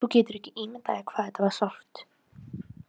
Þú getur ekki ímyndað þér hvað þetta var sárt.